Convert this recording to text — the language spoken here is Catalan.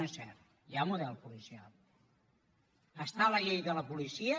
no és cert hi ha model policial està a la llei de la policia